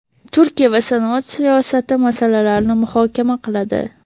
Turkiya va sanoat siyosati masalalarini muhokama qiladi.